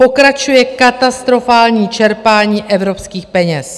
Pokračuje katastrofální čerpání evropských peněz.